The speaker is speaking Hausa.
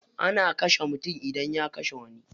Ana kashe mutum idan ya kashe wani.